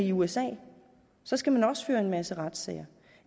i usa og så skal man også føre en masse retssager